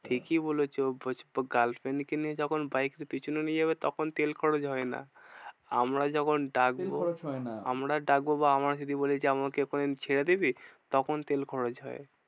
ঠিকই বলেছো girlfriend কে নিয়ে যখন bike এর পেছনে নিয়ে যাবে তখন তেল খরচ হয় না। আমরা যখন ডাকবো তেল খরচ হয় না আমরা ডাকবো বা আমরা যদি বলি যে আমাকে ওখানে ছেড়ে দিবি? তখন তেল খরচ হয়।